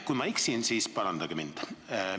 Kui ma eksin, siis parandage mind.